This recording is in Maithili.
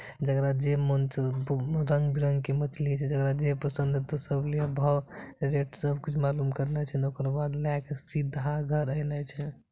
जेकरा जे मन छो रंग-बिरंग के मछली छै जेकरा जे पसंद हेतो सब लीहे भव रेट सब कुछ मालूम करने छै ओकर बाद लाय के सीधा घर आयने छै।